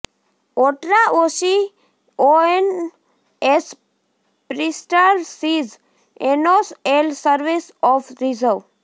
ઓટ્રા ઑશિયોઅન ઍસ પ્રિસ્ટાર સીઝ એનોસ ઍલ સર્વિસ ઓફ રિઝર્વે